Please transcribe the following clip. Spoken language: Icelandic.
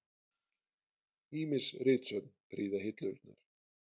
Ýmis ritsöfn prýða hillurnar.